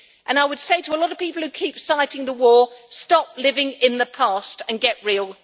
And I would say to a lot of people who keep on citing the war stop living in the past and get real.